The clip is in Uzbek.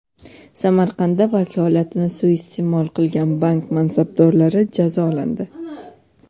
Samarqandda vakolatini suiiste’mol qilgan bank mansabdorlari jazolandi.